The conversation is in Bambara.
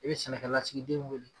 I bɛ sɛnɛkɛlasigiden weele